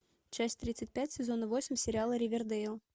часть тридцать пять сезона восемь сериала ривердэйл